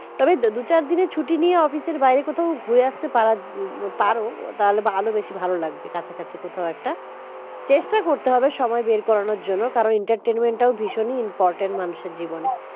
তবে দুই চার দিনের ছুটি নিয়ে office এর বাইরে কোথাও ঘুরে আসতে পারো তাহলে আরো বেশী ভালো লাগবে কাছাকাছি কোথাও একটা চেষ্টা করতে হবে সময় বের করানোর জন্য কারণ এটা একটা ভিশন important মানুষের জীবনে